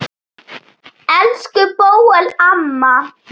Elsku Bóel amma.